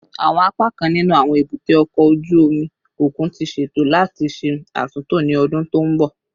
Awọn apakan ninu awọn ebute oko oju omi okun ti ṣeto lati ṣe atunto ni ọdun to nbọ